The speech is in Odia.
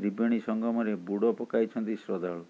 ତ୍ରିବେଣୀ ସଂଗମରେ ବୁଡ ପକାଇଛନ୍ତି ଶ୍ରଦ୍ଧାଳୁ